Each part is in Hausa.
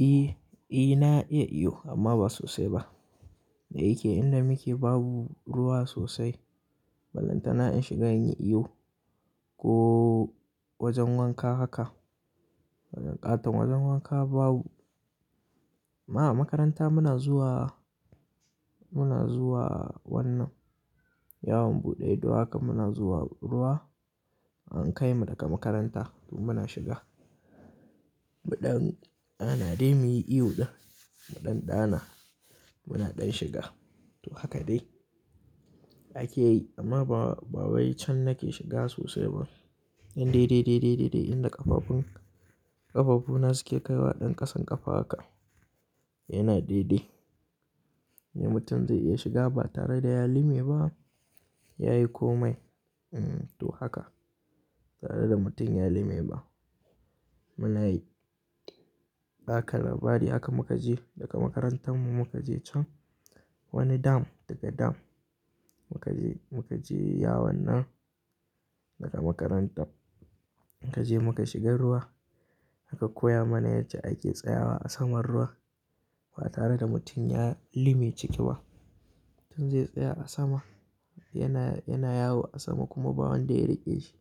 Eh, na iya iyo amma ba sosai ba. Da yake inda muke babu ruwa sosai. Ballantana in shiga in yi iyo ko wajen wanka haka. Wajen ƙaton wajen wanka babu. A makaranta muna zuwa, muna zuwa wannan yawon buɗe ido haka muna zuwa ruwa an kai mu daga makaranta kuma muna shiga. Mu ɗan ɗana dai muyi iyo ɗin. Mu ɗan ɗana muna ɗan shiga to haka dai ake yi amma ba, ba wai can nake shiga sosai ba. Ɗan daidai, daidai, daidai de yanda ƙafafun, ƙafafuna suke kaiwa ɗan ƙasan ƙafa haka yana de, de. Ya mutum zai iya shiga ba tare da ya lime ba yayi komai. Hmm to haka tare da mutum ya lime ba muna yi. Baka labari haka muka je daga makarantar mu muka je can wani dam daga dam muka je, muka je yawon nan daga makaranta muka je muka shiga ruwa aka koya mana yadda ake tsayawa a saman ruwa ba tare da mutum ya lime ciki ba. Mutum zai tsaya a sama yana, yana yawo a sama kuma bawon da ya riƙe shi.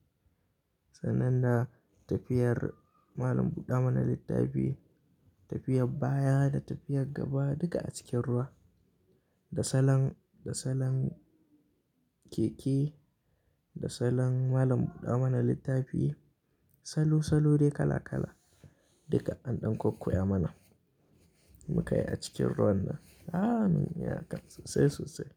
Sannan da tafiyar malam buɗa Mana littafi, tafiyar baya da tafiyar gaba duka a cikin ruwa. Da salon, da salon keke, da salon malam buɗa mana littafi salo, salo dai kala kala duka an ɗan ko koya mana. Mukayi a cikin ruwan nan. Aaa mun yi haka sosai, sosai.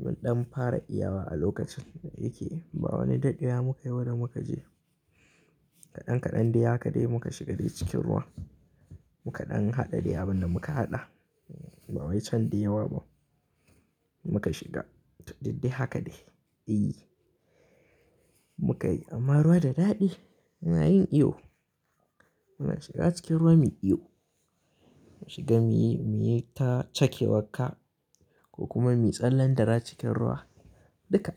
Mun ɗan fara iyawa a lokacin da yake ba wani daɗewa muka yi ba da muka je. Kaɗan kaɗan dai haka dai muka shiga dai cikin ruwa. Muka ɗan haɗa dai abin da muka haɗa ba wai can da yawa ba muka shiga. To didde haka dai e muka yi amma ruwa da daɗi muna yin iyo. Muna shiga cikin ruwa muyi iyo. Shiga muyi, muyi ta cakewar ka ko kuma muyi tsallan dira cikin ruwa duka.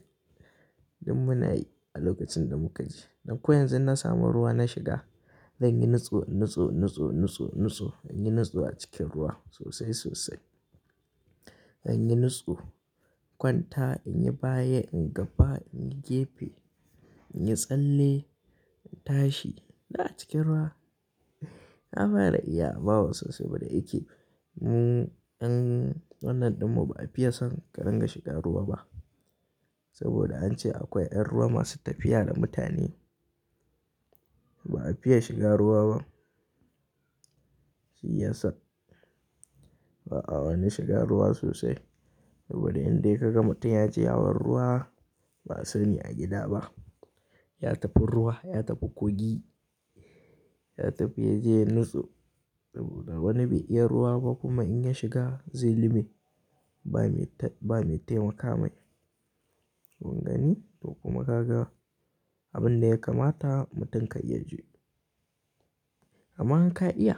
Duk muna yi a lokacin da muka je. Don ko yanzu inna samu ruwa na shiga zan yi nutso, nutso, nutso, nutso, nutso in yi nutso a cikin ruwa sosai, sosai. In yi nutso, kwanta, in yi baya, in yi gaba, in yi gefe, in yi tsalle, in tashi duk a cikin ruwa. Na fara iyawa ba sosai ba da yake mu ƴan wannan ɗin mu ba a fiya son ƙarin ga shiga ruwa ba. Saboda an ce akwai ƴan ruwa masu tafiya da mutane ba a fiya shiga ruwa ba. Shi ya sa ba'a wani shiga ruwa sosai saboda in dai ka ga mutum ya je hawar ruwa ba a sani a gida ba. Ya tafi ruwa, ya tafi kogi, ya tafi ya je nutso saboda ba wani be iya ruwa ba kuma in ya shiga zai lime ba me ta, ba me taimaka mai. Kungani to kuma kaga abin da ya kamata mutum kai yaje. Amma in ka iya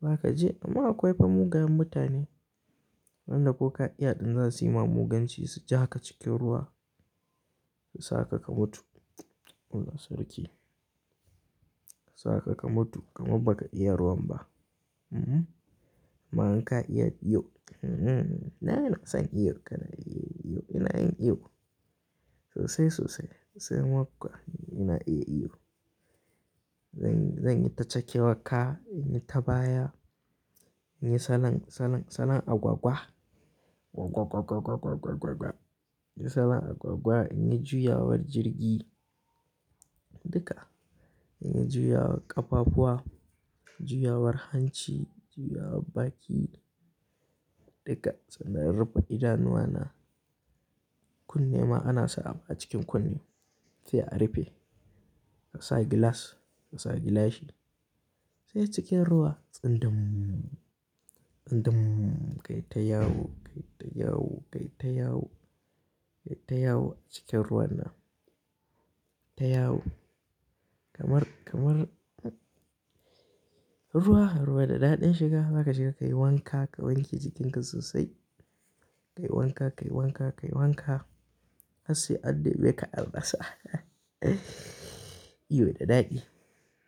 ba ka je amma akwai famugayen mutane wanda ko ka iya ɗin za su yi ma muganci su jaka cikin ruwa su sa ka ka mutu. Allah sarki. Sa ka ka mutu kamar baka iya ruwan ba. Mhm. Amma in ka iya iyo. Mhm. Na ina son iyo kana iya iyo ina yin iyo sosai, sosai sai ma kuwa ina iya iyo. Zan, zan yi ta cake wakka, in yi ta baya, in yi salon, salon, salon agwagwa. Gwagwagwa, gwagwagwa, gwagwagwa in yi salon agwagwa in yi juyawar jirgi duka. In yi juyawar ƙafafuwa, juyawar hanci, juyawar baki duka sannan in rife idanuwa na kunne ma ana sa a cikin kunne sai a rufe ka sa gilas ka sa gilashi sai cikin ruwa tsun dum tsun dum kai ta yawo kai ta yawo kai ta yawo kai ta yawo cikin ruwan nan. Ta yawo kamar, kamar ruwa, ruwa da daɗin shiga za ka shiga kai wanka ka wanke jikinka sosai. Kai wanka, kai wanka, kai wanka har sai an neme ka an rasa iyo da daɗi.